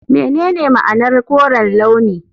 Menene ma'anar koren launi?